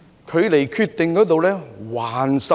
距離下決定還差甚遠。